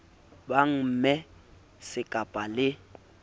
ba bangmme se kaba le